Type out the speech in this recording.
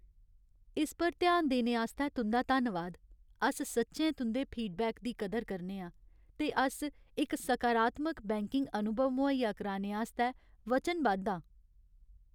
इस पर ध्यान देने आस्तै तुं'दा धन्नवाद। अस सच्चैं तुं'दे फीडबैक दी कदर करने आं, ते अस इक सकारात्मक बैंकिंग अनुभव मुहैया कराने आस्तै वचनबद्ध आं।